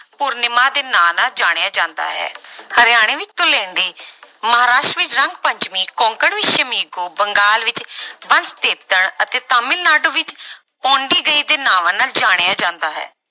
ਪੂਰਨਿਮਾ ਦੇ ਨਾਂ ਨਾਲ ਜਾਣਿਆ ਜਾਂਦਾ ਹੈ ਹਰਿਆਣੇ ਵਿੱਚ ਧੂਲੇਂਡੀ ਮਹਾਰਾਸ਼ਟਰ ਵਿੱਚ ਰੰਗ ਪੰਚਮੀ, ਕੋਂਕਣ ਵਿੱਚ ਸ਼ਮੀਗੋ, ਬੰਗਾਲ ਵਿੱਚ ਬੰਸਤੇਤਣ ਅਤੇ ਤਾਮਿਲਨਾਡੂ ਵਿੱਚ ਪੋਂਡੀਗਈ ਦੇ ਨਾਵਾਂ ਨਾਲ ਜਾਣਿਆਂ ਜਾਂਦਾ ਹੈ।